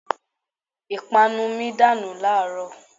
Ìpanu mi dànù láàrọ̀